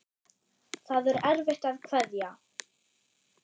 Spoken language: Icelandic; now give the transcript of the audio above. Það er erfitt að kveðja.